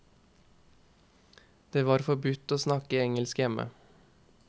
Det var forbudt å snakke engelsk hjemme.